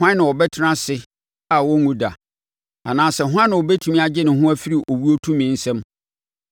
Hwan na ɔbɛtena ase a ɔrenwu da? Anaasɛ hwan na ɔbɛtumi agye ne ho afiri owuo tumi nsam?